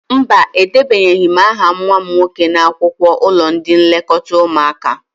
Mba, edebanyeghi m aha nwa m nwoke n'akwụkwọ ụlọ ndị nlekọta ụmụaka